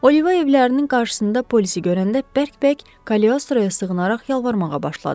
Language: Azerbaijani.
Oliva evlərinin qarşısında polisi görəndə bərk-bərk Kaliostroya sığınaraq yalvarmağa başladı.